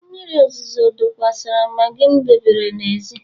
mmiri ozuzo zokwasara maggi m debere n'èzí